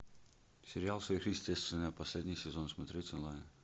сериал сверхъестественное последний сезон смотреть онлайн